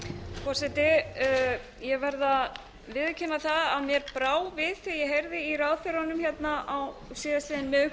forseti ég verð að viðurkenna það að mér brá við þegar ég heyrði í ráðherranum